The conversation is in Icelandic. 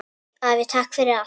Afi, takk fyrir allt!